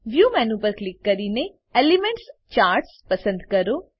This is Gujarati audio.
વ્યૂ મેનુ પર ક્લિક કરીને એલિમેન્ટ્સ ચાર્ટ્સ પસંદ કરો